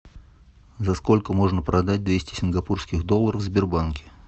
за сколько можно продать двести сингапурских долларов в сбербанке